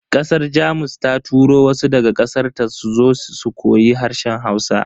Kasar Jamus ta turo wasu daga kasarta suzo su koyi harshen Hausa.